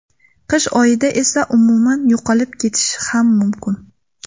Qish oylarida esa umuman yo‘qolib ketishi ham mumkin.